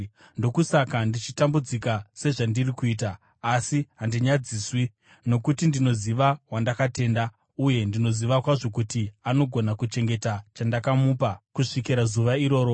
Ndokusaka ndichitambudzika sezvandiri kuita. Asi handinyadziswi, nokuti ndinoziva wandakatenda, uye ndinoziva kwazvo kuti anogona kuchengeta chandakamupa kusvikira zuva iroro.